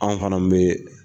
Anw fana bɛ